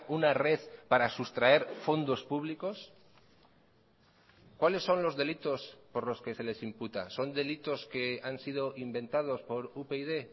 una red para sustraer fondos públicos cuáles son los delitos por los que se les imputa son delitos que han sido inventados por upyd